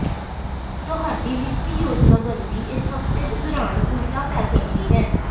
ਤੁਹਾਡੀ ਵਿੱਤੀ ਯੋਜਨਾਬੰਦੀ ਇਸ ਹਫਤੇ ਦੇ ਦੌਰਾਨ ਉਲਟਾ ਪੈ ਸਕਦੀ ਹੈ